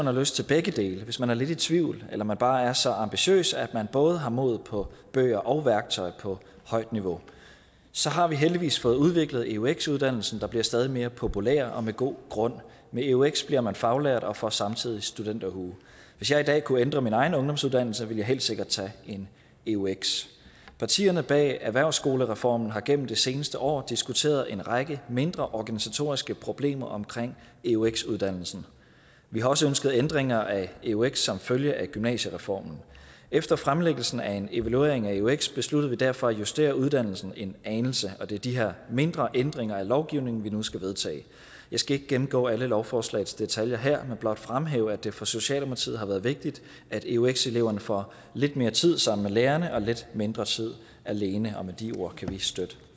har lyst til begge dele hvis man er lidt i tvivl eller man bare er så ambitiøs at man både har mod på bøger og værktøj på højt niveau så har vi heldigvis fået udviklet eux uddannelsen der bliver stadig mere populær og med god grund med eux bliver man faglært og får samtidig studenterhue hvis jeg i dag kunne ændre min egen ungdomsuddannelse ville jeg helt sikkert tage en eux partierne bag erhvervsskolereformen har gennem det seneste år diskuteret en række mindre organisatoriske problemer omkring eux uddannelsen vi har også ønsket ændringer af eux som følge af gymnasiereformen efter fremlæggelsen af en evaluering af eux besluttede vi derfor at justere uddannelsen en anelse og det er de her mindre ændringer af lovgivningen vi nu skal vedtage jeg skal ikke gennemgå alle lovforslagets detaljer her men blot fremhæve at det for socialdemokratiet har været vigtigt at eux eleverne får lidt mere tid sammen med lærerne og lidt mindre tid alene og med de ord kan vi støtte